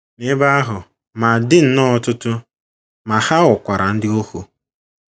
N’ebe ahụ ,ma dị nnọọ ọtụtụ,, ma ha ghọkwara ndị ohu.